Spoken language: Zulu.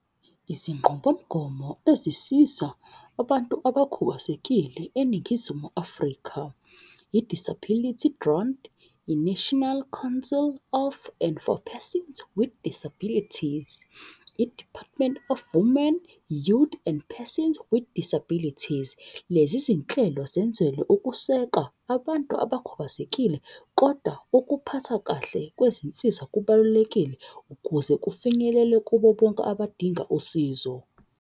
Izinqubomgomo ezisiza abantu abakhubazekile eNingizimu Afrika. I-disability grant, i-National Counsel of and for Persons with Disabilities, i-Department of Women, Youth and Persons with Disabilities. Lezi zinhlelo zenzelwe ukuseka abantu abakhubazekile. Koda ukuphatha kahle kwezinsiza kubalulekile ukuze kufinyelele kubo bonke abadinga usizo.